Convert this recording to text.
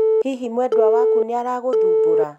hihi mwendwo waku nĩaragũthubũra?